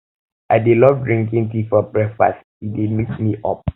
i dey love drinking tea for breakfast e dey wake me up